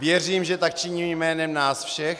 Věřím, že tak činím jménem nás všech.